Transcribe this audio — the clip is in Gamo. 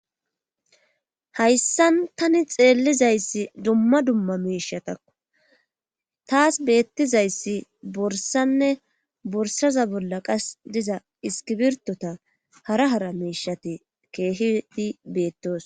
hayssan tani xeellizayssi dumma dumma meishatakko taas beettizayssi borsanne borsaza bolla qas diza iskibirtota hara hara meishati keehidi beettoos